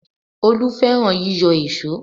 Olú fẹ́ràn yíyọ èṣó